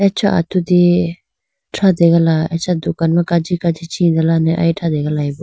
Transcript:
Acha atudi thrategala acha dukan ma kaji kaji chiyi dane thrategalayibo.